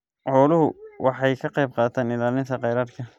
Xooluhu waxay ka qaybqaataan ilaalinta kheyraadka.